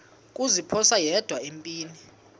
kuziphosa yedwa empini